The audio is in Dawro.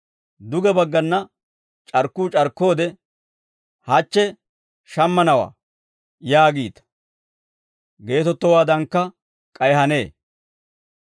Duge baggana c'arkkuu c'arkkoode, ‹Hachche shammanawaa› yaagiita; geetettowaadankka k'ay hanee.